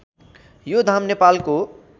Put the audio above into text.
यो धाम नेपालको